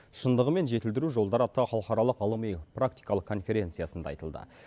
шындығымен жетілдіру жолдары атты халықаралық ғылыми практикалық конференциясында айтылды